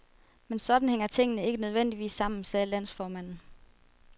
Men sådan hænger tingene ikke nødvendigvis sammen, sagde landsformanden.